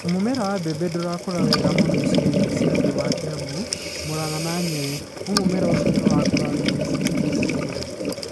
Mũmera wa mbembe ndũrakũra wega mũno icigo-inĩ cia thĩ wa Kiambu, Muranga na Nyeri; no mũmera ũcio nĩ ũrakũra wega icigo-inĩ cia igũrũ.